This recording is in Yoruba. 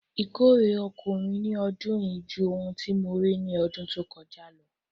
Ìkórè oko mi ni ọdún yíí jù ohun tí mo rí ni ọdún tó kọ́jà ló.